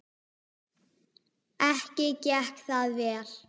Ekki gekk það vel.